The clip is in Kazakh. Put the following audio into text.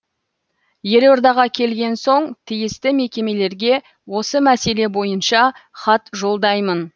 елордаға келген соң тиісті мекемелерге осы мәселе бойынша хат жолдаймын